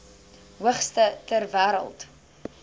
hoogste ter wêreld